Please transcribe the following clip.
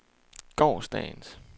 gårsdagens